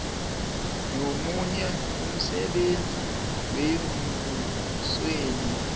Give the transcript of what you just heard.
nomunye umsebenzi wembusweni